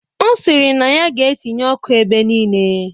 Ọ sịrị na ya ga-etinye ọkụ ebe nile.